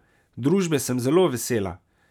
Družbe sem zelo vesela.